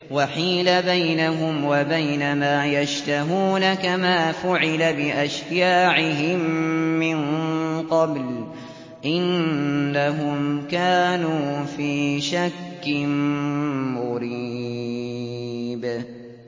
وَحِيلَ بَيْنَهُمْ وَبَيْنَ مَا يَشْتَهُونَ كَمَا فُعِلَ بِأَشْيَاعِهِم مِّن قَبْلُ ۚ إِنَّهُمْ كَانُوا فِي شَكٍّ مُّرِيبٍ